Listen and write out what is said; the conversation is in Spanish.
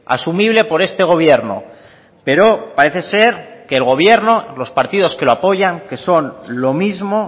asumible por este gobierno pero parece ser que el gobierno los partidos que lo apoyan que son lo mismo